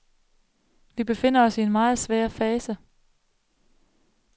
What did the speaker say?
Vi befinder os i en meget svær fase.